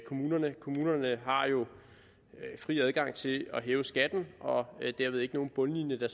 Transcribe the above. kommunerne kommunerne har jo fri adgang til at hæve skatten og derved ikke nogen bundlinje